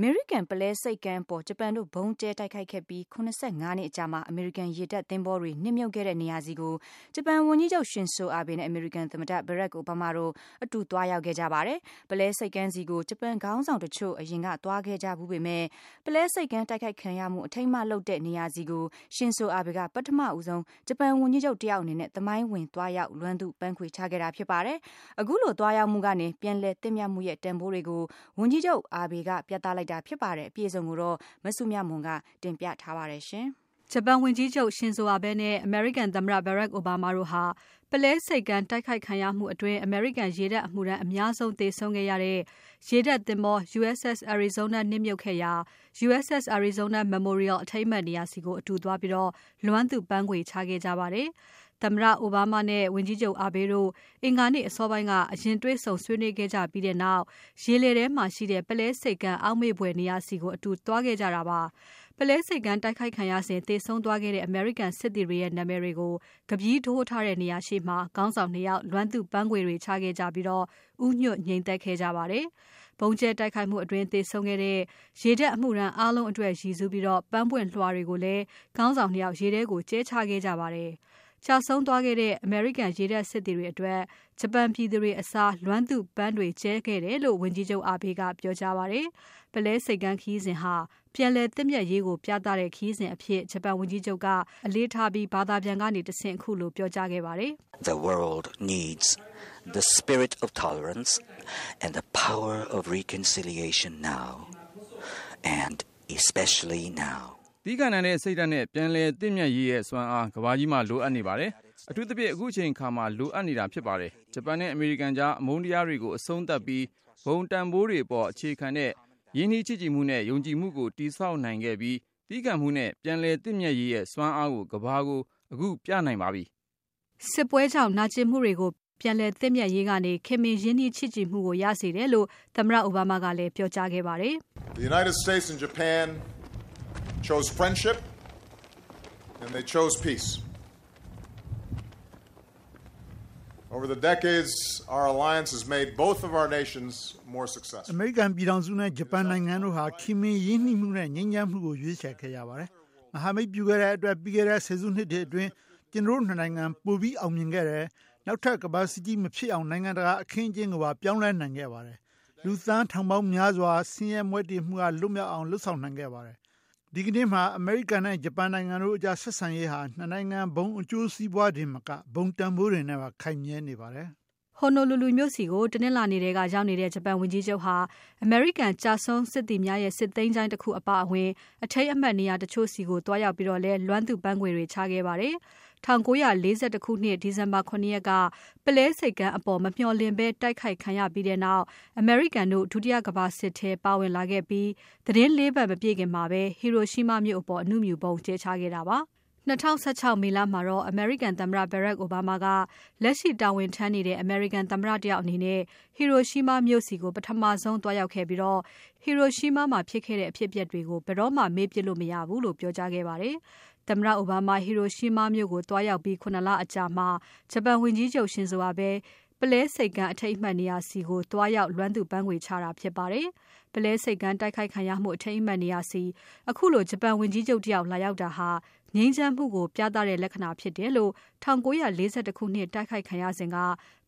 အမေရိကန်ပုလဲဆိပ်ကမ်းအပေါ် ဂျပန်တို့ဗုံးကြဲတိုက်ခိုက်ခဲ့ပြီး ၇၅ နှစ်အကြာမှာ အမေရိကန် ရေတပ်သင်္ဘောတွေ နစ်မြုပ်ခဲ့တဲ့နေရာဆီကို ဂျပန်ဝန်ကြီးချုပ် Shinzo Abe နဲ့ အမေရိကန်သမ္မတ Barack Obama တို့ အတူသွားရောက်ခဲ့ကြပါတယ်။ ပုလဲဆိပ်ကမ်းဆီကို ဂျပန်ခေါင်းဆောင်တချို့ အရင်ကသွားခဲ့ဖူးကြပေမဲ့ ပုလဲဆိပ်ကမ်းတိုက်ခိုက်ခံရမှု အထိမ်းအမှတ်လုပ်ထားတဲ့ နေရာဆီကို Shinzo Abe က ပထမဆုံး ဂျပန်ဝန်ကြီးချုပ် တယောက်အနေနဲ့ သမိုင်းဝင်သွားရောက် လွမ်းသူ့ပန်းခွေချခဲ့တာ ဖြစ်ပါတယ်။ အခုလို သွားရောက်မှုကနေ ပြန်လည်သင့်မြတ်မှုရဲ့ တန်ဖိုးတွေကို ဝန်ကြီးချုပ် Abe က ပြသလိုတာ ဖြစ်ပါတယ်။ အပြည့်အစုံကို မစုမြတ်မွန်က ဆက်လက်တင်ပြပါတယ်။ ဂျပန်ဝန်ကြီးချုပ် Shinzo Abe နဲ့ အမေရိကန်သမ္မတ Barack Obama တို့ဟာ ပုလဲဆိပ်ကမ်း တိုက်ခိုက်ခံရမှုအတွင်း အမေရိကန်ရေတပ်အမှုထမ်း အများဆုံးသေဆုံးခဲ့ရတဲ့ ရေတပ်သင်္ဘော USS Arizona နစ်မြုပ်ခဲ့ရာ USS Arizona Memorial အထိမ်းအမှတ်နေရာဆီကို အတူသွားပြီး လွမ်းသူ့ပန်းခွေ ချခဲ့ကြပါတယ်။ သမ္မတ Obama နဲ့ ဝန်ကြီးချုပ် Abe တို့ အင်္ဂါနေ့အစောပိုင်းကတော့ အရင်တေ့ွဆုံဆွေးနွေးခဲ့ကြပြီးနောက် ရေလည်ထဲမှာရှိတဲ့ ပုလဲဆိပ်ကမ်း အောက်မေ့ဘွယ်နေရာဆီ အတူသွားခဲ့ကြတာပါ။ ပုလဲဆိပ်ကမ်းတိုက်ခိုက်ခံရစဉ် သေဆုံးသွားခဲ့တဲ့ အမေရိကန်စစ်သည်တွေရဲ့ နာမည်တွေကို ကဗည်းထိုးထားတဲ့ နေရာရှေ့မှာ ခေါင်းဆောင် ၂ ယောက် လွမ်းသူ့ပန်းခွေတွေ ချခဲ့ကြပြီး ဦးညွတ် ငြိမ်သက်ခဲ့ကြပါတယ်။ ဗုံကြဲတိုက်ခိုက်မှုအတွင်း သေဆုံးခဲ့တဲ့ ရေတပ်အမှုထမ်း အားလုံးအတွက်ရည်စူးပြီး ပန်းပွင့်လွှာတွေကိုလည်း ခေါင်းဆောင် ၂ ယောက် ရေထဲကို ကြဲချခဲ့ကြပါတယ်။ ကျဆုံးခဲ့တဲ့ အမေရိကန်ရေတပ်စစ်သည်တွေအတွက် ဂျပန်ပြည်သူတွေအစား လွမ်းသူ့ပန်းတွေကြဲခဲ့တယ်လို့ ဝန်ကြီးချုပ် Abe က ပြောကြားပါတယ်။ ပုလဲဆိပ်ကမ်းခရီးစဉ်ဟာ ပြန်လည်သင့်မြတ်ရေးကိုပြသတဲ့ ခရီးစဉ်အဖြစ် ဂျပန်ဝန်ကြီးချုပ်က အလေးထား ပြောခဲ့ပါတယ်။ လွမ်းသူ့ပန်းခွေချအပြီး ဘာသာပြန်ကတဆင့် ခုလို ပြောကြားခဲ့တာပါ။ “သည်းခံနိုင်တဲ့စိတ်ဓာတ်နဲ့ ပြန်လည်သင့်မြတ်ရေးရဲ့ စွမ်းအား ကမ္ဘာကြီးမှာ လိုအပ်နေပါတယ်။ အထူးသဖြင့် အခုအချိန်မှာ လိုအပ်နေပါတယ်။ ဂျပန်နဲ့ အမေရိကန်ကြား အမုန်းတရားတွေကို အဆုံးသတ်ပြီး ဘုံတန်ဖိုးတွေအပေါ် အခြေခံတဲ့ ရင်းနှီးချစ်ကြည်ခင်မှု၊ ယုံကြည်မှုကို တည်ဆောက်နိုင်ခဲ့ပြီး သည်းခံမှုနဲ့ ပြန်လည်သင့်မြတ်ရေးရဲ့ စွမ်းအားကို ကမ္ဘာကို အခုပြသနိုင်ပါပြီ။” စစ်ပွဲကြောင့်နာကျင်မှုတွေကို ပြန်လည်သင်ြ့မတ်ရေးကနေ ခင်မင်ရင်းနှီးချစ်ကြည်မှုကို ရစေတယ်လို့ သမ္မတ အိုဘားမားကလည်း ပြောကြားခဲ့ပါတယ်။ “အမေရိကန်ပြည်ထောင်စုနဲ့ ဂျပန်နိုင်ငံတို့ဟာ ခင်မင်ရင်းနှီးမှုနဲ့ ငြိမ်းချမ်းမှုကို ရွေးချယ်ခဲ့ကြပါတယ်။ မဟာမိတ်ပြုခဲ့တဲ့အတွက် ပြီးခဲ့တဲ့ဆယ်စုနှစ်တွေအတွင်း ကျနော်တို့ ၂ နိုင်ငံ ပိုပြီးအောင်မြင်ခဲ့တယ်။ နောက်ထပ် ကမ္ဘာစစ်ပွဲကြီးမဖြစ်အောင် နိုင်ငံတကာအခင်းအကျင်းကို ပြောင်းနိုင်ခဲ့ပါတယ်။ လူပေါင်း သန်းထောင်နဲ့ချီကို ဆင်းရဲမွဲတေမှုကနေ လွတ်မြောက်အောင် လုပ်နိုင်ခဲ့တယ်။ ဒီကနေ့မှာ အမေရိကန်နဲ့ ဂျပန်နိုင်ငံတို့ကြား ဆက်ဆံရေးဟာ ၂ နိုင်ငံဘုံအကျိုးစီးပွားတင်မက ဘုံတန်ဖိုးတွေနဲ့ပါ ခိုင်မြဲနေပါတယ်။” Honolulu မြို့ဆီကို တနင်္လာနေ့က ရောက်လာတဲ့ ဂျပန်ဝန်ကြီးချုပ်ဟာ အမေရိကန် ကျဆုံးစစ်သည်များရဲ့ စစ်သချိုင်း National Memorial Cemetery of the Pacific အပါအဝင် အထိမ်းအမှတ် နေရာတချို့ဆီကို သွားရောက်ပြီး လွမ်းသူ့ပန်းခွေတွေ ချခဲ့ပါတယ်။ ၁၉၄၁ ခုနှစ် ဒီဇင်ဘာ ၇ ရက်က ပုလဲဆိပ်ကမ်းအပေါ် မမျှော်လင့်ဘဲ တိုက်ခိုက်ခံရပြီးနောက် အမေရိကန်တို့ ဒုတိယကမ္ဘာစစ်ထဲမှာ ပါဝင်လာခဲ့ပြီး ၄ နှစ်အကြာမှာပဲ ဟီရိုရှီးမားမြို့အပေါ် အနုမြူဗုံးကြဲချခဲ့ပါတယ်။ ၂၀၁၆ မေလမှာတော့ အမေရိကန်သမ္မတ Barack Obama က လက်ရှိတာဝန်ထမ်းနေတဲ့ အမေရိကန် သမ္မတတယောက်အနေနဲ့ ဟီရိုရှီမားမြို့ဆီကို ပထမဆုံးသွားရောက်ခဲ့ပြီး ဟီရိုရှီးမားမှာဖြစ်ခဲ့တဲ့ အဖြစ်အပျက်တွေကို ဘယ်တော့မှ မေ့ပစ်လို့ မရဘူးလို့ ပြောကြားခဲ့ပါတယ်။ သမ္မတအိုဘားမား ဟီရိုရှီးမားမြို့ကို သွားရောက်ပြီး ၇ လအကြာမှာ ဂျပန်ဝန်ကြီးချုပ် Shinzo Abe ပုလဲဆိပ်ကမ်း အထိမ်းအမှတ်နေရာကို သွားရောက် ပန်းခွေချတာဖြစ်ပါတယ်။ ပုလဲဆိပ်ကမ်းတိုက်ခိုက်ခံရမှု အထိမ်းအမှတ်နေရာဆီ ခုလို ဂျပန်ဝန်ကြီးချုပ်တယောက် လာရောက်တာဟာ ငြိမ်းချမ်းမှုကို ပြသနေတယ်လို့ ၁၉၄၁ ခုနှစ် တိုက်ခိုက်ခံရစဉ်က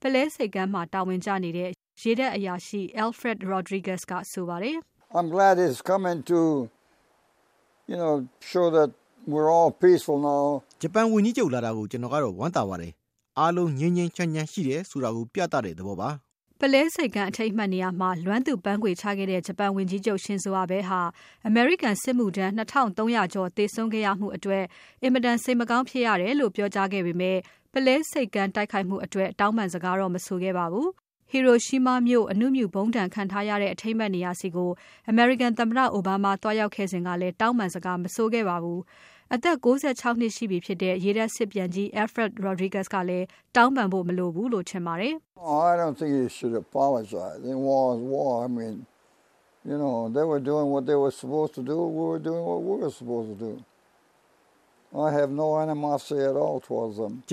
ပုလဲဆိပ်ကမ်းမှာ တာဝန်ကျနေတဲ့ ရေတပ်အရာရှိ Alfred Rodrigues က ဆိုပါတယ်။ “ဂျပန်ဝန်ကြီးချုပ်လာတာကို ကျနော်ကတော့ ဝမ်းသာပါတယ်။ အားလုံး ငြိမ်းငြိမ်းချမ်းချမ်း ရှိတယ်ဆိုတာကို ပြသတဲ့သဘောပါ။” ပုလဲဆိပ်ကမ်း အထိမ်းအမှတ်နေရာမှာ လွမ်းသူ့ပန်းခွေချခဲ့တဲ့ ဂျပန်ဝန်ကြီးချုပ် Shinzo Abe ဟာ အမေရိကန်စစ်မှုထမ်း ၂ ထောင့် ၃ ရာကျော် သေဆုံးခဲ့ရမှုအတွက် အင်မတန် စိတ်မကောင်းဘူးလို့ ပြောကြားခဲ့ပေမဲ့ ပုလဲဆိပ်ကမ်း တိုက်ခိုက်မှုအတွက် တောင်းပန်စကားတော့ မဆိုခဲ့ပါဘူး။ ဟီရိုရှီးမားမြို့ အနုမြူဗုံးဒဏ်ခံရတဲ့ အထိမ်းအမှတ်နေရာဆီကို အမေရိကန်သမ္မတ အိုဘားမား သွားရောက်ခဲ့စဉ်ကလည်း တောင်းပန်းစကား မဆိုခဲ့ပါဘူး။ အသက် ၉၆ နှစ်ရှိပြီဖြစ်တဲ့ ရေတပ် စစ်ပြန်ကြီး Alfred Rodrigues ကလည်း တောင်းပန်ဖို့ မလိုဘူးလို့ ထင်ပါတယ်။ “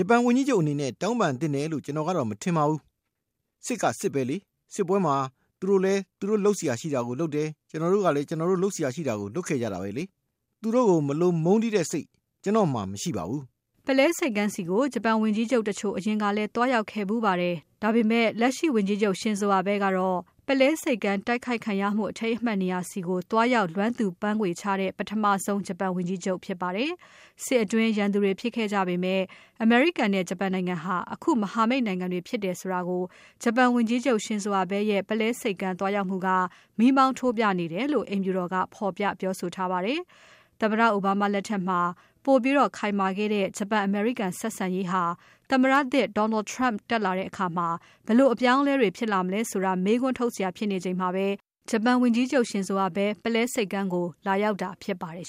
ဂျပန်ဝန်ကြီးချုပ်အနေနဲ့ တောင်းပန်သင့်တယ်လို့ ကျနော်ကတော့ မထင်ပါဘူး။ စစ်က စစ်ပဲလေ။ စစ်ပွဲမှာ သူတို့ကလည်း သူတို့ လုပ်စရာရှိတာကို လုပ်တယ်။ ကျနော်တို့ကလည်း ကျနော်တို့လုပ်စရာရှိတာကို လုပ်ခဲ့ကြတာပဲလေ။ သူတို့ကို မလိုမုန်းတီးတဲ့စိတ် ကျနော်မှာ မရှိပါဘူး။” ပုလဲဆိပ်ကမ်းဆီကို ဂျပန်ဝန်ကြီးချုပ်တချို့ အရင်ကလည်း သွားရောက်ခဲ့ဖူးပါတယ်။ ဒါပေမဲ့ လက်ရှိဝန်ကြီးချုပ် Shinzo Abe ကတော့ ပုလဲဆိပ်ကမ်းတိုက်ခိုက်ခံရမှု အထိမ်းအမှတ်နေရာဆီကို သွားရောက် လွမ်းသူ့ပန်းခွေချတဲ့ ပထမဆုံး ဂျပန်ဝန်ကြီးချုပ် ဖြစ်ပါတယ်။ စစ်အတွင်း ရန်သူတွေဖြစ်ခဲ့ကြပေမဲ့ အမေရိကန်နဲ့ ဂျပန်နိုင်ငံဟာ အခုမဟာမိတ်နိုင်ငံတွေ ဖြစ်ကြတယ်ဆိုတာကို ဂျပန်ဝန်ကြီးချုပ် Shinzo Abe ရဲ့ ပုလဲဆိပ်ကမ်းသွားရောက်မှုက မီးမောင်းထိုးပြနေတယ်လို့ အိမ်ဖြူတော်က ဖော်ပြပြောဆိုထားပါတယ်။ သမ္မတအိုဘားမားလက်ထက်မှာ ပိုပြီးခိုင်မာခဲ့တဲ့ ဂျပန် အမေရိကန် ဆက်ဆံရေးဟာ သမ္မတသစ် Donald Trump တက်လာတဲ့အခါ ဘယ်လိုအပြောင်းအလဲတွေ ဖြစ်လာမလဲဆိုတာ မေးခွန်းထုတ်စရာ ဖြစ်နေချိန်မှာ ဂျပန်ဝန်ကြီးချုပ် Shinzo Abe ပုလဲဆိပ်ကမ်းကို လာရောက်တာဖြစ်ပါတယ်